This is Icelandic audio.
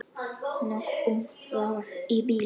Nóg um það í bili.